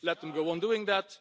Let them go on doing that